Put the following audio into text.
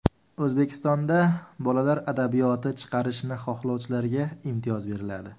O‘zbekistonda bolalar adabiyoti chiqarishni xohlovchilarga imtiyoz beriladi.